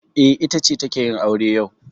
E, ita ce take yin aure yau.